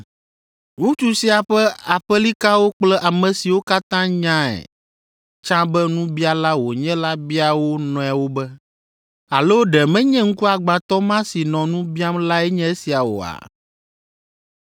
Ŋutsu sia ƒe aƒelikawo kple ame siwo katã nyae tsã be nubiala wònye la bia wo nɔewo be, “Alo ɖe menye ŋkuagbãtɔ ma si nɔ nu biam lae nye esia oa?”